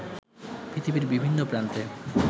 পৃথিবীর বিভিন্ন প্রান্তে